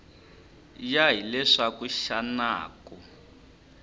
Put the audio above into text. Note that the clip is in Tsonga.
ya hi leswaku xana ku